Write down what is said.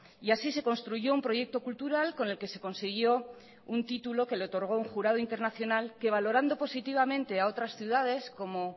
y así se construyó un proyecto cultural con el que se consiguió un título que le otorgó un jurado internacional que valorando positivamente a otras ciudades como